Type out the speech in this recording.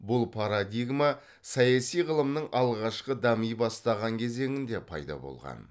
бұл парадигма саяси ғылымның алғашқы дами бастаған кезеңінде пайда болған